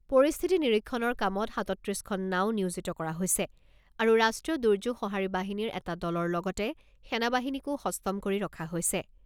পৰিস্থিতি নিৰীক্ষণৰ কামত সাতাত্ৰিছখন নাঁও নিয়োজিত কৰা হৈছে আৰু ৰাষ্ট্ৰীয় দুৰ্যোগ সহাৰি বাহিনীৰ এটা দলৰ লগতে সেনাবাহিনীকো সষ্টম কৰি ৰখা হৈছে।